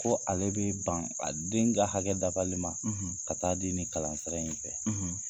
Ko ale bɛ ban a den ka hakɛ dafali ma ka t'a di ni kalansira in fɛ, .